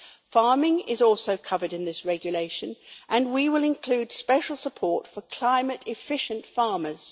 Farming is also covered in this regulation, and we will include special support for climate-efficient farmers.